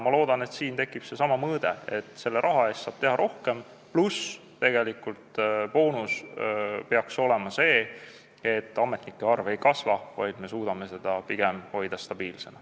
Ma loodan, et siin tekib seesama mõõde, et sellesama raha eest saab teha rohkem, pluss boonuseks peaks olema see, et ametnike arv ei kasva, vaid me suudame seda hoida pigem stabiilsena.